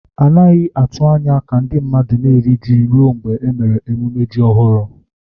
A naghị atụ anya ka ndị mmadụ na-eri ji ruo mgbe e mere emume ji ọhụrụ.